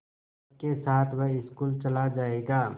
सबके साथ वह स्कूल चला जायेगा